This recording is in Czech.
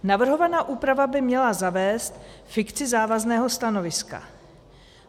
Navrhovaná úprava by měla zavést fikci závazného stanoviska.